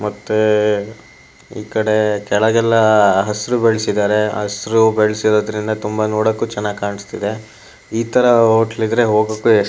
ಮತ್ತೆ ಈಕಡೆ ಕೆಳಗೆಲ್ಲ ಹಸಿರು ಬೆಳೆಸಿದ್ದಾರೆ ಹಸಿರು ಬೆಳೆಸಿರೋದ್ರಿಂದ ತುಂಬ ನೋಡೋಕು ಚೆನ್ನಾಗ್ ಕಾಣಿಸ್ತಿದೆ ಇತರ ಹೋಟೆಲ್ ಇದ್ರೂ ಹೋಗೋಕು--